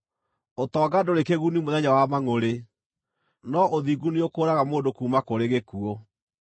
Ũtonga ndũrĩ kĩguni mũthenya wa mangʼũrĩ, no ũthingu nĩũkũũraga mũndũ kuuma kũrĩ gĩkuũ.